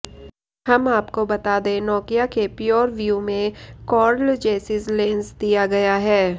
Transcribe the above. हम आपको बता दें नोकिया के प्योर व्यू में कार्लजेसिस लेंस दिया गया है